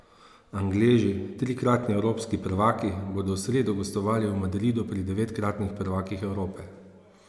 Angleži, trikratni evropski prvaki, bodo v sredo gostovali v Madridu pri devetkratnih prvakih Evrope.